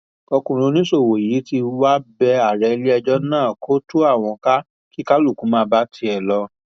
ọkùnrin oníṣòwò yìí tí wàá bẹ ààrẹ iléẹjọ náà kó tú àwọn ká kí kálukú máa bá tiẹ lọ